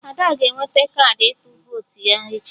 Ada ga-eweta kaadị ịtụ votu ya echi